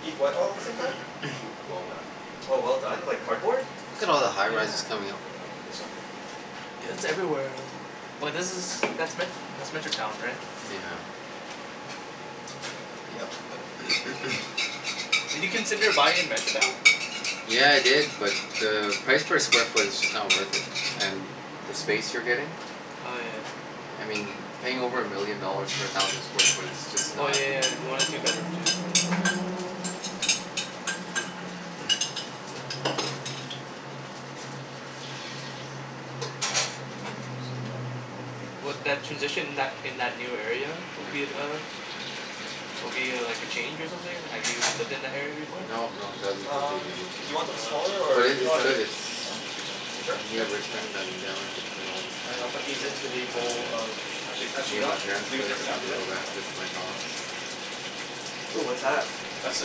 Eat what all at the same time? Well done. Oh well done, like cardboard? Look at all the high rises Yeah. coming up. I'm gonna heat this up here. Yeah it's everywhere um But this is, that's Me- that's Metrotown right? Yeah. Yep. Did you consider buying in Metrotown? Yeah I did, but the price per square foot is just not worth it and the space you're getting, Oh yeah. I mean paying over a million dollars for a thousand square foot is just Oh not. yeah yeah yeah. Yeah. You wanted a two bedroom too. What, that, transition in that in that new area, would be Yeah. at uh Will be uh like a change or something? Have you lived in that area before? No, no, that'll be Um completely new to do me. you want Oh them smaller okay. But or it, is this No, it's that's good. good? good. It's Yeah? That's that's good size. Are you sure? near Yep. All right. Richmond. I'm down in Richmond all the And I'll time, put these into the um bowl of Actually actually, you Near know my what? I can parents' leave it there place. for I now. Yeah? can go back, Okay. visit my dogs. Ooh what's that? That's the,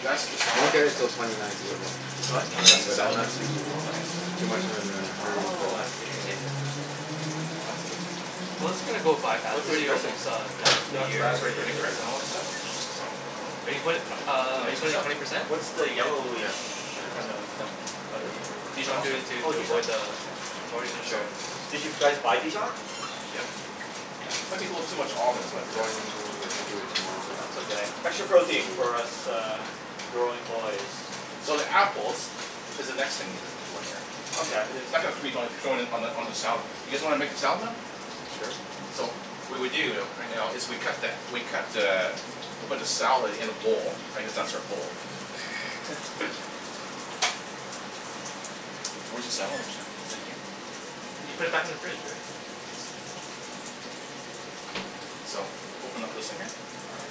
that's the salad Won't get it dressing. til twenty nineteen though, It's what? That's the but I'm salad not dressing. too Oh nice. too much of in a hurry for Oh, I that see. so Fancy. Well it's gonna go by fast, What's we're in the already dressing? almost uh done Yeah, the That year raspberry vinaigrette and all yeah. that stuff. So Are Oh. you put- We can uh are you mix this putting up. twenty percent? What's The the yellowish Yeah. Twenty kind percent. of, butter Dijon I'm mustard. doing or? it to Oh, to Dijon. avoid the Okay. the mortgage So insurance. Did you guys buy Dijon? Yep. Okay. Let people have too much almonds but I'm uh going to do it tomorrow. That's okay. Extra protein for us uh growing boys. So the apples is the next thing we need to Okay. I- it's not gonna on the on the salad. You guys wanna make the salad now? Sure. So, what we do though right now is we cut that, we cut the, we put the salad in a bowl. I guess that's our bowl. Where's the salad mixer? Is it here? You put it back in the fridge Rick. Okay. So open up this one here. All right.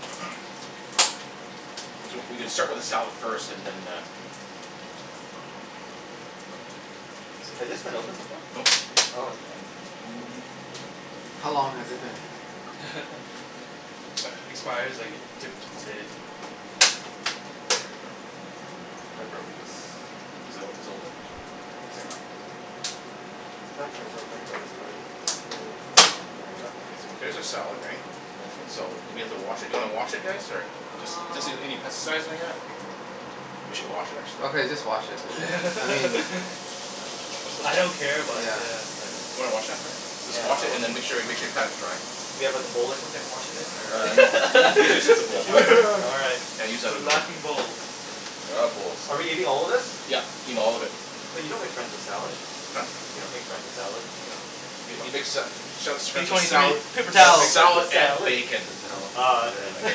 We c- we can start with the salad first, and then uh Has this been opened before? Nope. Oh, okay. How long has it been? Expires like to- today. There we go. I broke this. Is it o- is it open? No, it's Here. not. That part's open, but this part is just really, there we go. There's a salad right? So do we have to wash it, do you wanna wash it guys or? Just Um doesn't need any pesticides or anything like that. We should wash it actually. Okay just wash it, I mean, Let's uh, just I wash don't it. care, but yeah. yeah. Wanna wash that man? Just Yeah, wash it I'll wash and then that. make sure make sure you pat it dry. Do you have like a bowl or something to wash it in or? Uh, no, you you just need the bowl. All right. Yeah, use that other The laughing one. bowl. We're out of bowls. Are we eating all of this? Yep, eat all of it. But you don't make friends with salad. Huh? You don't make friends with salad. I dunno. Y- you make sa- sa- sa- P friends twenty with three. sala- Paper You don't towel. make friends salad with and salad. bacon. Paper towel. Oh okay. Yeah. Okay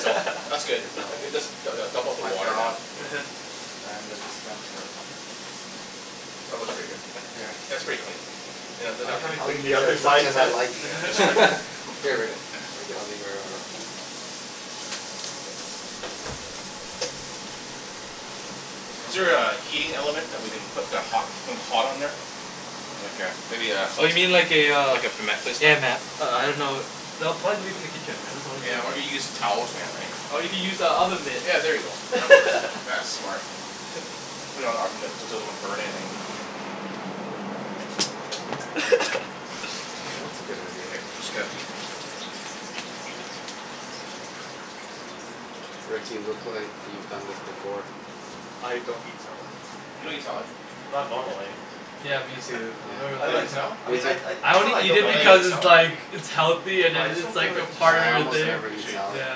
so, that's good. towels. Just du- du- dump out It's the my water now. job. Yeah. I am the dispenser. That works for you guys. Here. That's pretty clean. Yeah, then I I can haven't I'll cleaned the use other as much side of as I that. like. Here, Here lick Rick. it. Lick it. I'll leave it right here. You Is want there my a heating element that we can put the hot hot on there? Like a, maybe a Oh you mean like a uh, Like a mat placement. yeah ma- uh I dunno. No, probably leave it in the kitchen. That's the only thing Yeah I can or we get some towel or something right. Or you can use the oven mitt. Yeah, there you go. That works. That's smart. Put it on an oven mitt so it doesn't burn anything. That's a good idea. Okay, I just got Rick, you look like you've done this before. I don't eat salad. You don't eat salad? Not normally. Yeah, me too. I've never I You really like, don't I like Me mean I too. I, I it's not that only I eat don't it like it. because like it's salad? like it's healthy and But I just it's don't feel like like a Yeah, part I of the almost thing. never eat salad. Yeah.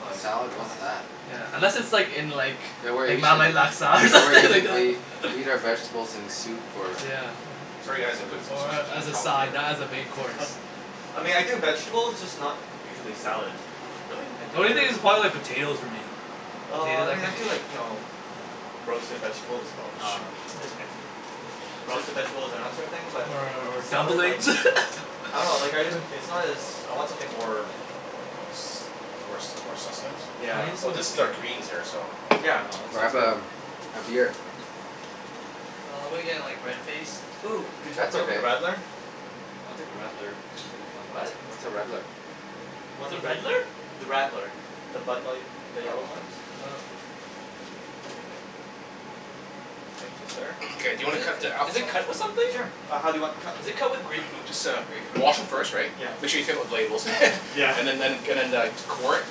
Oh, yes. Salad, Oh, what's nice. that? Yeah. Unless it's like in like Yeah we're eating, Malay laksa or yeah we're something like eating the, that. we eat our vegetables in soup or Yeah. Sorry guys, I'm gonna put s- s- s- s- Or s- some of as the a salad food side, here. not as a main course. I mean I do vegetables, just not usually salad. Really? I The do only other thing is vegetables probably like first. potatoes for me. Oh I Potatoes I mean I can do eat. like, you know roasted vegetables, Oh, uh, shoot. that's okay. Roasted vegetables and that sort of thing, but Or or salad, like dumplings? I dunno, like, I, it's not as, I want something more More s- s- , more sustenance? yeah. I need Well some this is our greens here so. Yeah, no it's it's Grab good. a a beer. Nah, I'm gonna get like red faced. Ooh, could you hook That's me up with a okay. radler? I'll take a radler, if there is one. What? What's a redler? What's One a of the, redler? the radler. The Bud Light, the yellow Oh. one? Oh. Thank you sir. Okay do you wanna cut the Is apples it now? cut with something? Sure, uh how do you want them cut? Is it cut with grapefruit, Just uh grapefruit or wash 'em something? first right. Yeah. Make sure you take off the labels. Yeah. And then and and then uh core it,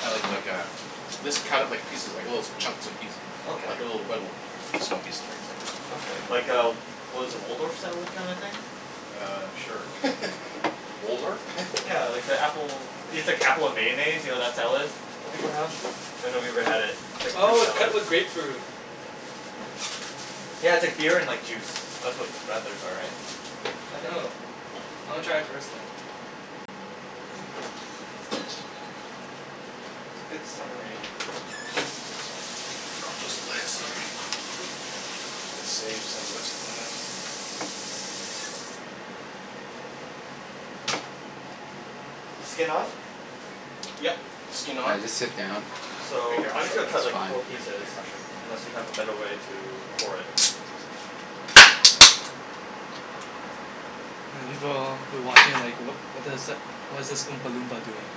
like like a mis- cut it like little pieces, like little chunks and piece. Okay. Like little small pieces right Okay, so. like a, what is it, Waldorf style kind of thing? Uh, sure. Waldorf? Yeah like the apple, Oh it's sh- like apple and mayonnaise, you know that salad that Oh people okay. have? I've never even had it. It's like a fruit Oh, it's salad. cut with grapefruit. Yeah, it's like beer and like juice. That's what radlers are, right? I think. Oh. I wanna try it first then. It's a good summery Gonna save some of this, why not? Skin on? Yep. Okay. Skin Yeah, on. I'll just sit down. Here So, here, I'm I'll just gonna show cut It's like fine. four pieces, Here, I'll show unless you. you have a better way to core it. The people who are watching are like, "What what does, what is this oompa loompa doing?"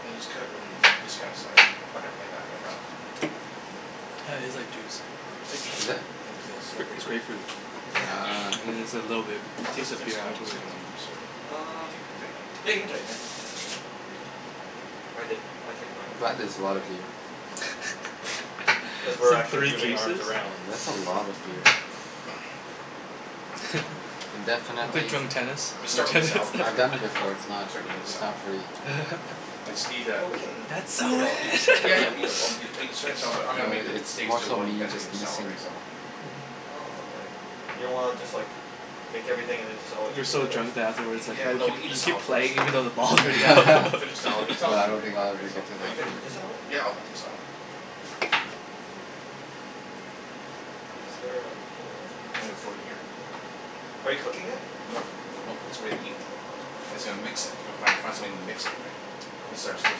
And then just cut it in this kind of size. Okay. Like that, right so. Yeah, it's like juice. Is it? I think it's a little It's grape- slippery it's here. grapefruit. Yeah. Ah. Yeah it's a little bit, it tastes like it's beer coming it's afterwards. coming on loose or? Um. Think Yeah, I you can can tighten it? tighten it. Ah. I did, I tightened mine I'm a glad couple there's times a lot already. of beer. Cuz It's we're like actually three moving arms cases? I around mean, that's a lot of beer. Can definitely Wanna play s- drunk tennis? We'll start with the Drunk salad first, I've eh? done tennis. that before, Okay. it's not Start eating the it's salad. not pretty. I just need a Well, we can That's we so can all eat in! together Yeah right? yeah, but I'm No, going make the i- it's steaks more too so while you me guys eat just the salad, missing the right so. ball. Oh, okay. You don't wanna just like make everything and then just all eat You're so together? drunk that afterwards like Yeah people no, keep, eat the you keep salad first, playing even though the and then balls the. all go Finish the salad, the No, salad will I be don't really think quick I'll right ever so. get to Are you that gonna point. eat the salad? Yeah, I'll have some salad. Okay. Is there a bowl? I'm gonna throw it in here. Okay. Are you cooking it? Nope, nope, it's ready to eat. I said I'll mix it. Gotta fi- fi- find something to mix it right. This is ours, this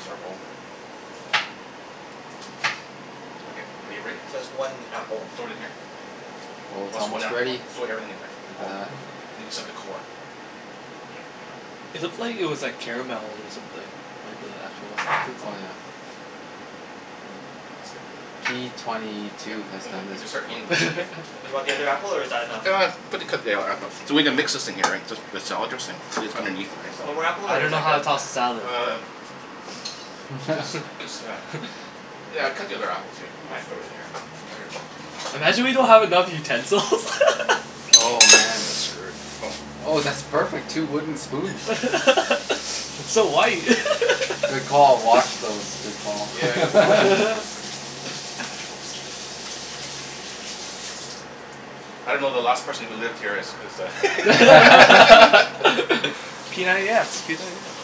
is our bowl here. Okay. Are you ready? So that's one apple. Throw it in here. Oh Oh it's so one almost apple one? ready. Throw everything in here. Look at All. that. Oh except the core. Yeah. I got it. It looked like it was like caramel or something. Like the actual sauce and stuff. Oh yeah. That's good. P twenty Yep. two has We done we this can start eating before. this in here. Do you want the other apple or is that enough? Ah, put the, cut the other app- so we're gonna mix this thing here right, just, just the salad dressing that's underneath it, right so. One more apple I or is don't know that how good? to toss the salad. Uh, just, just uh, yeah cut the other apple too, we can throw it in here. Imagine we don't have enough utensils. Oh man. That's screwed. Oh, that's perfect. Two wooden spoons. It's so white. Good call. Wash those. Good call. Yeah, I gotta wash. I don't know, the last person who lived here is is a p ninety x, p ninety x.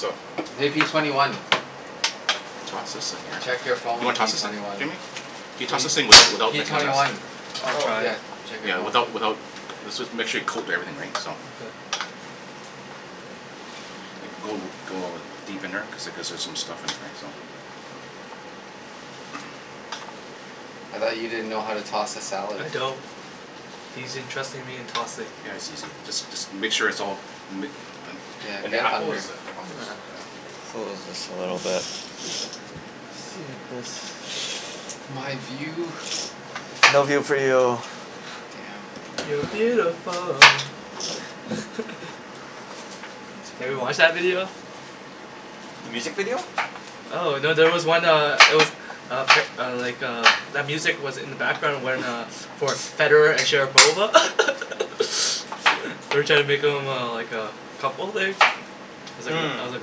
So Hey, P twenty one. Toss this thing here. Check your You phone, wanna P toss this thing? twenty one. Jimmy, can you P P toss this thing without without P making a twenty mess? one. I'll Oh. try. Yeah. Without without, this was, make sure you coat everything right, so. Like go go deep in there cuz like there's some stuff in there, right? So. I thought you didn't know how to toss a salad. I don't. He's entrusting me in tossing. Yeah, it's easy. Just just make sure it's all ma- , and Yeah. and the Get apple is under. a, I'll fix, yeah My view. No view for you. Damn. You're beautiful. Have you watched that video? The music video? Oh no. There was one uh, it was uh uh, like uh, that music was in the background when uh, for Federer and Sharapova they're trying to make them uh like uh couple like, I Hmm. was like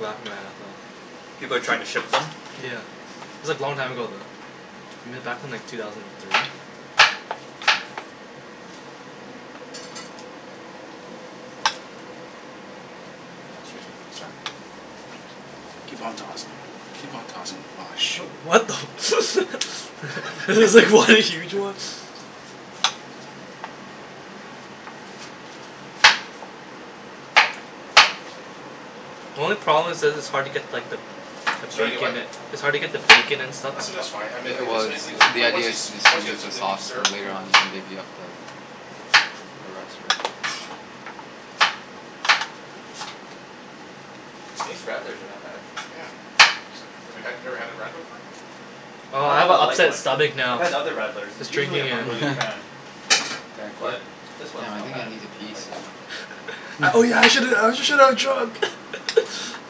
laughing my ass off. People are trying to shit them? Yeah. It was like long time ago though. I mean back in like two thousand and three. Excuse me. Sorry. Keep on tossing. Keep on tossing. Whoa, shoot. What the I was like, what are you doing? The only problem is that it's hard to get like the the It's hard to get bacon what? a- it's hard to get the bacon and stuff. I said it's fine. I mean It it was. The idea is to distribute the sauce served. and later on you can divvy up the the rest of it. These radlers are not bad. Yeah. It's like, we had, you've never had a radler before? Oh, Not I the have a Bud Light upset one. stomach I've now. had other I radlers and was usually drinking I'm not it. really a fan. You gonna quit? But this one Damn, is I not think I bad. need to pee I like this soon. one. Oh yeah. I shouldn't, I shouldn't have drunk.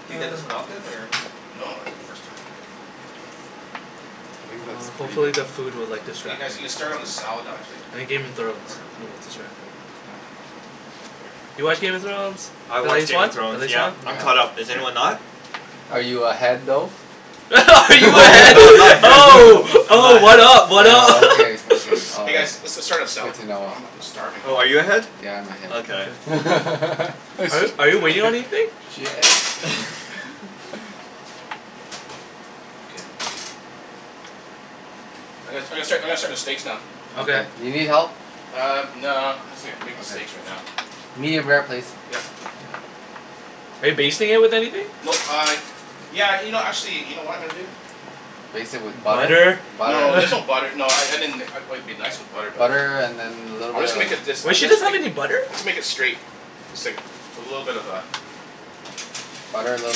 Do you get this one often or? No, first time. I think that's Uh pretty good. hopefully, the food will You guys, you like can start distract on the me. salad I actually. think Game of Thrones will distract me. Yeah. You watch Game of Thrones? I The watch latest Game one? of The Thrones. latest Yeah. one? I'm caught up. Is anyone Here. not? Are you ahead though? Are you Oh ahead, no, I'm not ahead. oh, I'm not oh, ahead. what up, what Oh up? okay. Okay. All Hey guys, right. let's let's start with salad. Good to know. I'm I'm starving. Oh, are you ahead? Yeah, I'm ahead. Okay. Are you are you waiting on anything? Shit. I'm gonna I'm gonna start I'm gonna start the steaks now. Okay. Do you need help? Uh, no, I'm just gonna, I'll make the steaks right now. Medium rare, please. Yep. Are you basting it with anything? Nope uh, yeah, you know actually, you know what I'm gonna do? Baste it with butter? Butter? No, there's no butter. No, I I mean like it it'd be nice with butter but Butter and then a little I'm bit just of gonna make it this uh Wait, she that's doesn't have make any butter? I'll just make it straight. It's like a little bit of a Butter, little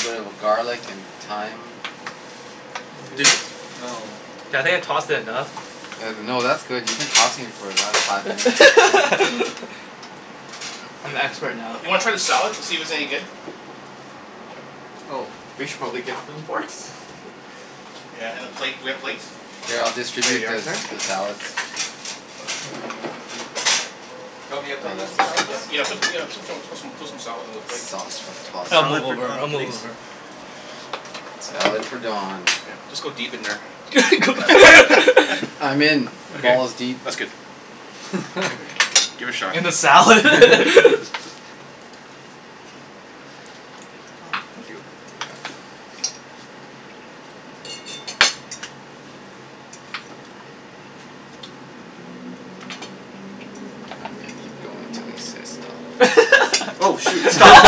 bit of garlic and thyme. This. No. Yeah I think I tossed it enough. No no, that's good. You've been tossing it for the last five minutes so I'm expert Do now. you wanna try the salad to see if it's any good? Oh, we should probably give them forks. Yeah and a plate. Do we have plates? Here, I'll Here you distribute are, the sir. the salads. Do you want me to Oh, put you that's some the salad, Don? sauce. Yeah. Put, yeah, put some put some salad on the plate. Salt from tossed I'll salad. Salad move for over. I'll Donald move please. over. Salad for Don. Just go deep in there. I'm in. Okay. Balls deep. That's good. Give it a shot. In the salad? Oh, thank you. I'm gonna keep going until he says stop. Oh, shoot. That's Stop.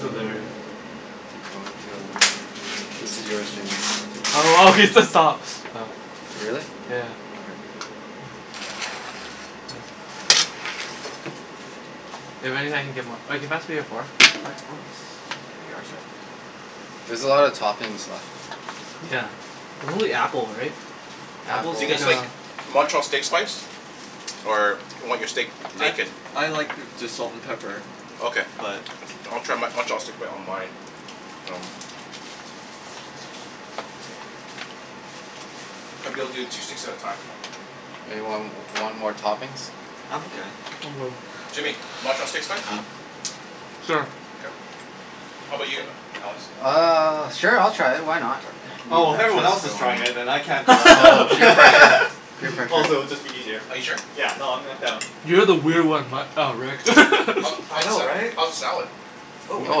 hilarious. Keep going until. This is yours Jimmy. I'll Oh, he take that one. said stop. Really? Yeah. Okay. That means I can get more. Oh, can you pass me a fork? Oh, here you are, sir. There's a lot of toppings left. Yeah. And only apple, right? Do you Apples. guys like Montreal steak spice? Or you want your steak I naked? I like just salt and pepper. Okay. But I'll try Mon- Montreal steak on my. Oh. I'll be able to do two steaks at a time. Anyone w- want more toppings? I'm okay. I'm good. Jimmy, Montreal steak spice? Sure. K. How about you Alex? Uh, sure I'll try it, why not? Okay. Be Oh, if everyone adventurous else is for one trying day. it then I can't be left Oh, out. peer pressure. Peer pressure. Also, it'd be just easier. Are you sure? Yeah. No, I'm I'm down. You're the weird one, Matt, uh Rick. I How's the know, sa- right? how's the salad? Oh, I'm Oh,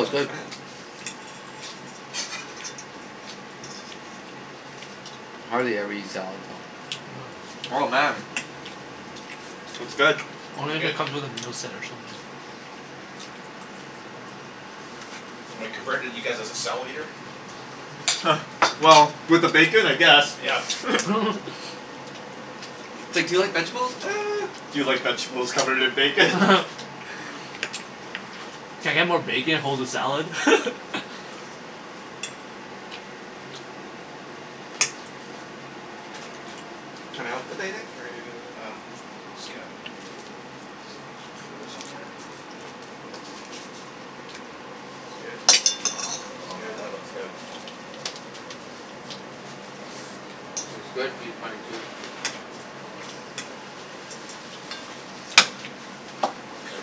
it's good. try it. I hardly ever eat salad though. Uh huh. Oh, man. It's good. Is it Only if good? it comes with a moose head or something. Am I converted you guys as a salad eater? Well, with the bacon I guess. Yeah. It's like, do you like vegetables? Do you like vegetables covered in bacon? Can I get more bacon, hold the salad? Can I help with anything or are you Um, It's good. I'll put this on here. It's good. Oh man, that looks good. That's good, P twenty two. Okay.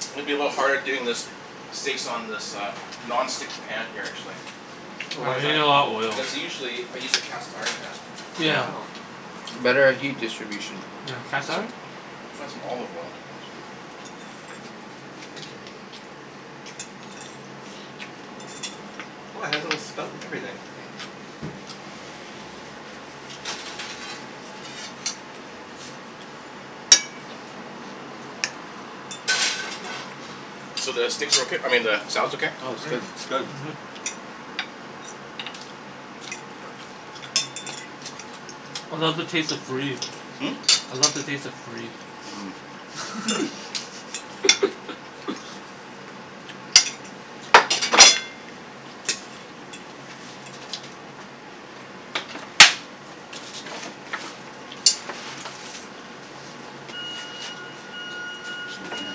It's gonna be a little bit harder doing this, steaks on this uh non-stick pan here actually. Oh, why Ah, is you that? need a lot of oils. Because usually I use a cast iron pan. Yeah. Oh. Better at heat distribution. You have And cast so, iron? I'll find some olive oil. Oh, it has a little spout and everything. So, the steaks are okay? I mean the salad's okay? Oh, it's good. Mmm, it's good. I love the taste of free. Hmm? I love the taste of free. Hmm. It's over here.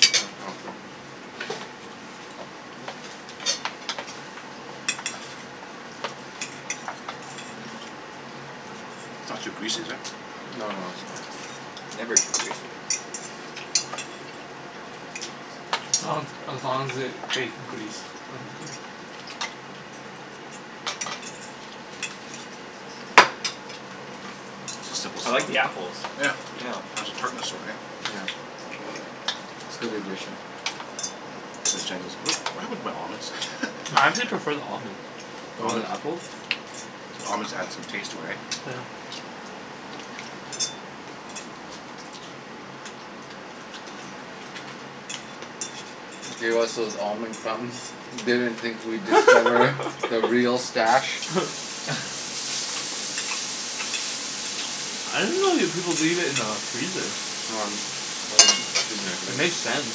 It's not too greasy, is it? No, no, it's fine. Never too greasy. As long as as long as there's bacon grease, I'm good. This is simple I salad. like the apples. Yeah. Yeah. It has a tartness all right. Yeah. It's good addition. So Jen goes, "What happened to my almonds?" I actually prefer the almonds over the apple. Almonds add some taste to it, right? Yeah. Gave us those almond crumbs. Didn't think we'd discover the real stash. I didn't know you people leave it in the freezer. It makes sense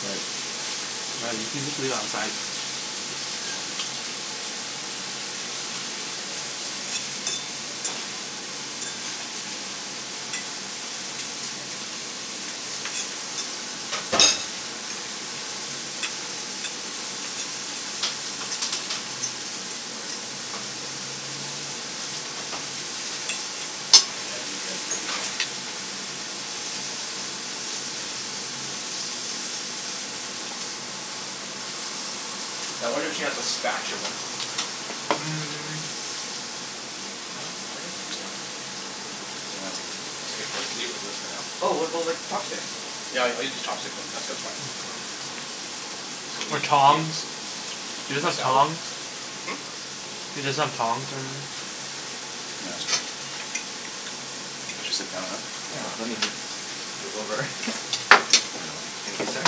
but Right, you could just leave it outside. Now I wonder if she has a spatula. Yeah. eat this for now. Oh, what about like chopsticks? Yeah, I I use the chopsticks. Then So Or leave it, here. tongs? You Eat guys my use salad. tongs? Hm? You just have tongs Yeah, that's okay. I'll just sit down now. Yeah. Let me move, move over. There you go. Thank you, sir.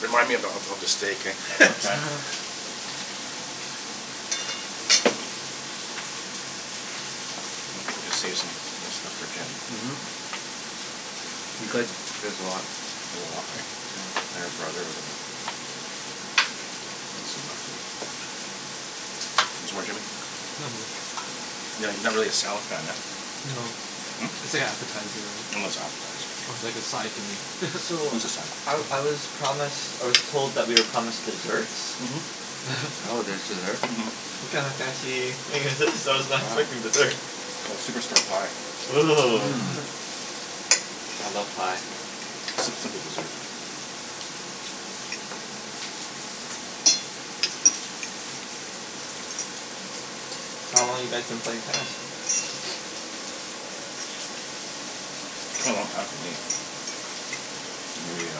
Remind me ab- of of the steak eh. Okay. I think we can save some stuff for Jen. Mhm. You could. There's a lot. There's a lot, right? And your brother. Want some more, Jimmy? No, I'm good. No? You're not you're not really a salad fan, huh? No. It's like appetizer, It's right? an appetizer. It's like a side to me. So It's a side. I I was promised, I was told that we are promised desserts? Mhm. Oh, there's dessert? Mhm. What kind of fancy thing is this? freaking dessert. It's called Superstore pie. Ooh. Mmm. I love pie. Simp- simple dessert. So, how long you guys been playing tennis? A long time for me. Maybe, uh,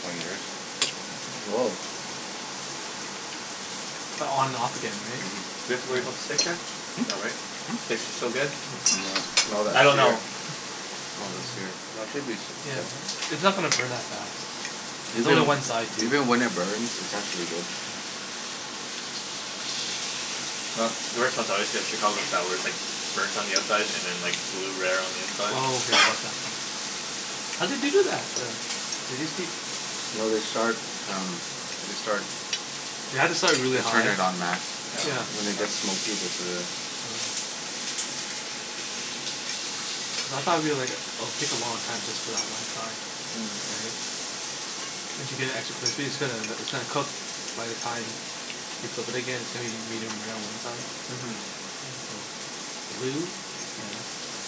twenty years. Oh. But on and off again, right? Mhm. Do we have to worry about the steak yet? Hmm? No, right? Steaks Hmm? are still good. Smell that I don't know. sear. Smell the sear. No, it should be It's not gonna burn that fast. There's only Even one side too. even when it burns, it's actually good. Uh the restaurants I always get a Chicago sour, it's like burnt on the outside and then like blue rare on the inside. Oh yeah, I love that thing. How do they do that then? They just keep No. They start um, they start You have to start really They hot. turn it on max. Yeah. When they get smoky, they put it in. Oh. Cuz I thought it'll be like it'll take a long time just for that one side. Right? Mmm. And to get it actually crispy, it's gonna it's gonna cook by the time you flip it again, it's gonna be medium rare on one side. Mhm. Blue? Yes.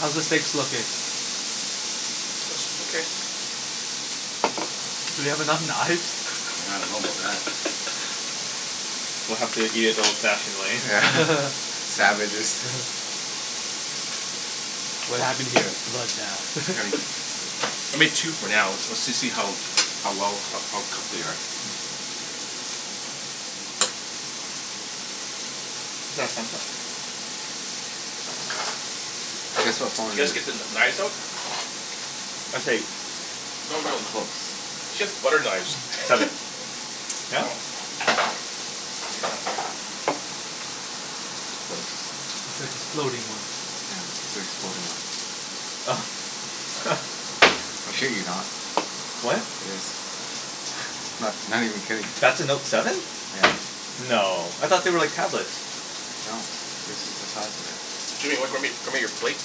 How's the steaks looking? It's okay. Do we have enough knives? Yeah, I don't know about that. We'll have to eat it the old fashioned way. Yeah. Savages. What happened here? Bloodbath. I mean, I made two for now. Let's let's see how how well, how cooked they are. Is that Samsung? Guess what phone You it guys is. get the kn- knives out? That's right. She has butter knives. Seven. No? Close. It's like the exploding one. Yeah, it's the exploding one. Oh. I shit you not. What? It is. I'm not not even kidding. That's a Note seven? Yeah. No. I thought they were like tablets? No. This is the size of it. Jimmy, w- grab me grab me your plate.